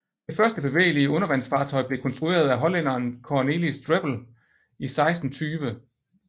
Det første bevægelige undervandsfartøj blev konstrueret af hollænderen Cornelis Drebbel i 1620